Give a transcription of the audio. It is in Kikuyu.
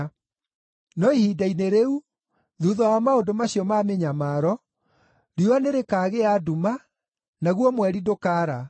“No ihinda-inĩ rĩu, thuutha wa maũndũ macio ma mĩnyamaro, “ ‘riũa nĩrĩkagĩa nduma, naguo mweri ndũkaara;